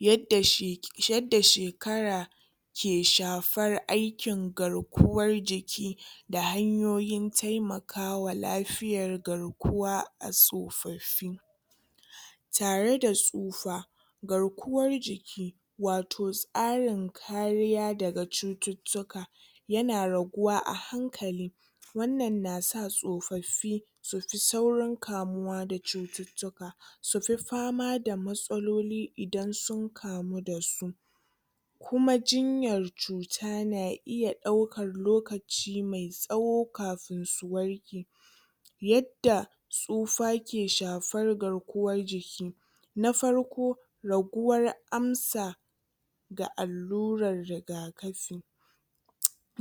Yadda shek yadda shekara ke shafara aikin garkuwar jiki da hanyoyin taimakawa lafiyar garkuwa a tsofaffi. Tare da tsufa garkuwar jiki wato tsarin kariya daga cututtuka ya na raguwa a hankali. Wannan na sa tsofaffi su fi saurin kamuwa da cututtuka, su fi fama da matsaloli idan sun kamu da su. Kuma jinyar cuta na iya ɗaukar lokaci mai tsawo kafin su warke. Yadda tsufa ke shafar garkuwar jiki; Na farko raguwar amsa da allurar rigakafi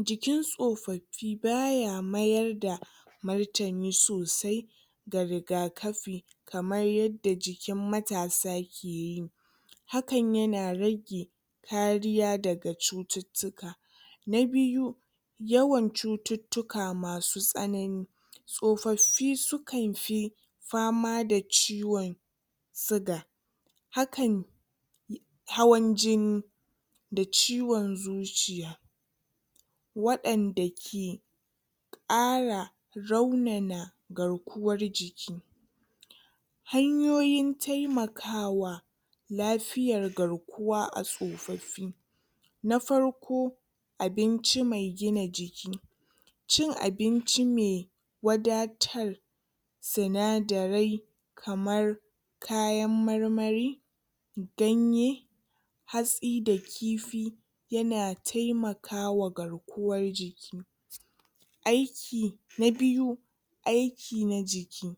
jikin tsofaffin ba ya mayar da martani sosai ga rigakafi kamar yadda jikin matasa ke yi. Hakan ya na rage kariya daga cututtuka. Na biyu yawan cututtuka masu tsanani. Tsofaffin sukan fi fama da ciwon siga hakan hawan-jini da ciwon zuciya. Waɗanda ke ƙara raunana garkuwar jiki. Hanyoyin taimakawa lafiyar garkuwa a tsofaffi; Na farko abinci ma gina jiki, cin abinci me wadatar sinadarai kamar kayan marmari, ganye hatsi da kifi, ya na taimakawa garkuwar jiki. Aiki na biyu, aiki na jiki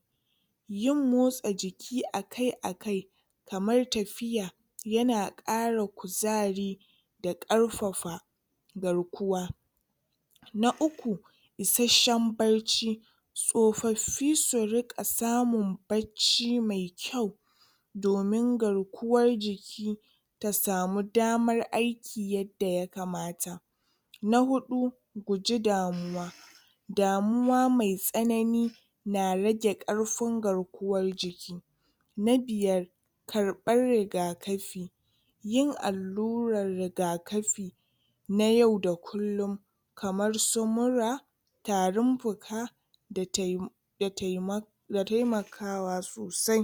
yin motsa jiki akai-akai kamar tafiya, ya na ƙara kuzari da ƙarfafa garkuwa. Na uku isasshen barci. Tsofaffi su riƙa samun barci mai kyau domi garkuwar jiki ta samu damar aiki yadda ya kamata. Na huɗu guji damuwa. Damuwa mai tsanani na rage ƙarfin garkuwar jiki. Na biyar karɓar rigakafi. Yin allurar rigakafi na yau da kullum kamar su mura, tarin-fuka, da tai da taima da taimakawa sosai.